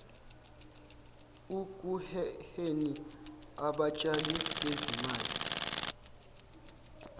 ekuheheni abatshali bezimali